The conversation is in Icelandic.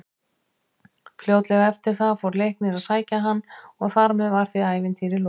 Fljótlega eftir það fór Leiknir að sækja hann og þar með var því ævintýri lokið.